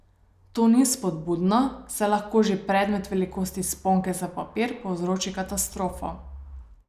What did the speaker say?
To ni spodbudno, saj lahko že predmet velikosti sponke za papir povzroči katastrofo.